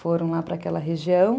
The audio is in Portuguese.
Foram lá para aquela região.